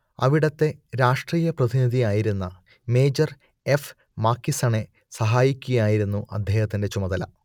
അവിടത്തെ രാഷ്ട്രീയപ്രതിനിധിയായിരുന്ന major F മാക്കിസണെ സഹായിക്കുകയായിരുന്നു അദ്ദേഹത്തിന്റെ ചുമതല